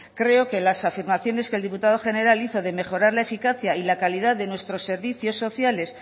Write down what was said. creo que las afirmaciones que el diputado general hizo de